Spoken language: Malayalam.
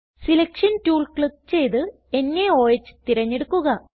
സെലക്ഷൻ ടൂൾ ക്ലിക്ക് ചെയ്ത് നോഹ് തിരഞ്ഞെടുക്കുക